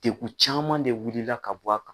Dekun caman de wulila ka bɔ a kan.